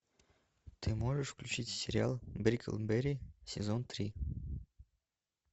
ты можешь включить сериал бриклберри сезон три